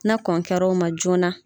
Na kɔn kɛra o ma joona.